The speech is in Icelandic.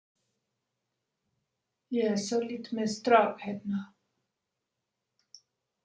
Ég er svolítið með strák hérna.